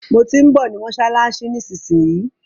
Mo tí ń bọ̀ ní mọ́ṣáláṣí nísinsìnyí.